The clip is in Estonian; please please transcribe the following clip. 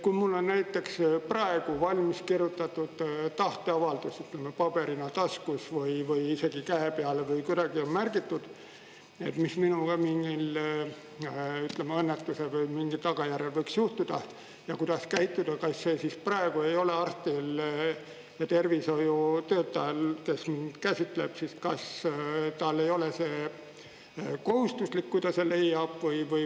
Kui mul on näiteks praegu valmis kirjutatud tahteavaldus paberina taskus või isegi käe peale või kuidagi märgitud, mis minuga õnnetuse või millegi tagajärjel võiks juhtuda ja kuidas käituda, kas siis praegu ei ole arstil ja tervishoiutöötajal, kes käsitleb, kas talle ei ole see kohustuslik, kui ta selle leiab?